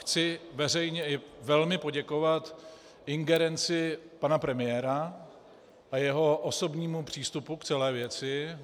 Chci veřejně i velmi poděkovat ingerenci pana premiéra a jeho osobnímu přístupu k celé věci.